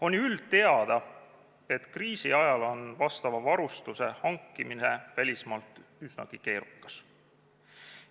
On ju üldteada, et kriisi ajal on teatud varustuse hankimine välismaalt üsnagi keerukas.